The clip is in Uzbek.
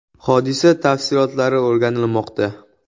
Hodisa tafsilotlari o‘rganilmoqda.